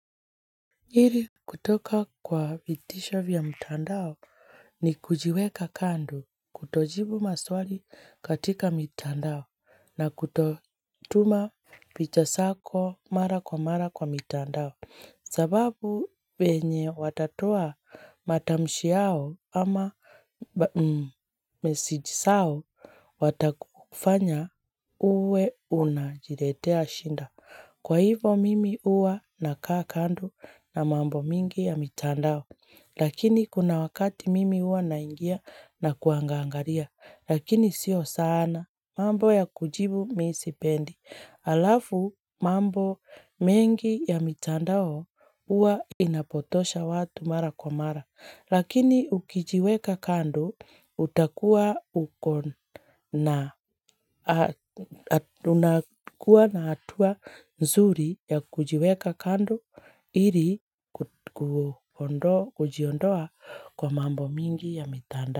Ili kutoka kwa vitisho vya mtandao ni kujiweka kando, kutojibu maswali katika mitandao na kutotuma picha zako mara kwa mara kwa mitandao. Sababu penye watatoa matamshi yao ama meseji zao watakufanya uwe una jiletea shida. Kwa hivyo mimi huwa nakaa kando na mambo mingi ya mitandao. Lakini kuna wakati mimi huwa naingia na kuangangalia. Lakini sio sana mambo ya kujibu mimi sipendi. Alafu mambo mengi ya mitandao huwa inapotosha watu mara kwa mara. Lakini ukijiweka kando utakuwa na hatua nzuri ya kujiweka kando ili kujiondoa kwa mambo mingi ya mitandao.